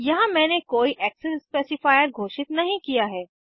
यहाँ मैंने कोई एक्सेस स्पेसिफायर घोषित नहीं किया है